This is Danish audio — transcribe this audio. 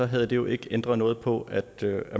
havde det jo ikke ændret noget på at